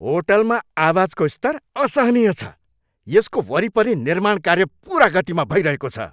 होटलमा आवाजको स्तर असहनीय छ, यसको वरिपरि निर्माण कार्य पूर्ण गतिमा भइरहेको छ।